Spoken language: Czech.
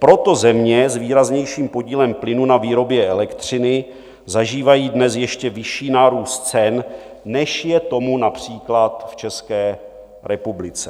Proto země s výraznějším podílem plynu na výrobě elektřiny zažívají dnes ještě vyšší nárůst cen, než je tomu například v České republice.